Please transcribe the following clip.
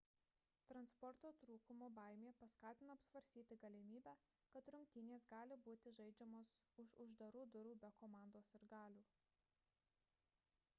transporto trūkumo baimė paskatino apsvarstyti galimybę kad rungtynės gali būti žaidžiamos už uždarų durų be komandos sirgalių